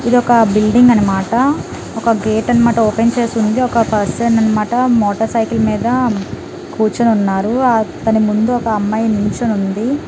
ఇది ఒక బిల్డింగ్ అన్నమాట ఒక గేట్ అన్నమాట ఓపెన్ చేసి ఉంది ఒక పర్సన్ అన్నమాట మోటార్ సైకిల్ మీద కూర్చొని ఉన్నారు ఆ తన ముందు ఒక అమ్మాయి నిల్చోని ఉంది.